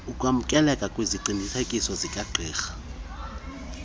ukwamkeleka kweziqinisekiso zikagqirha